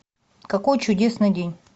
какой чудесный день